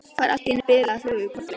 Fær allt í einu bilaða flugu í kollinn.